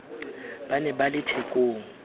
ba ne ba le thekong